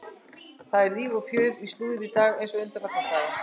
Það er líf og fjör í slúðrinu í dag eins og undanfarna daga.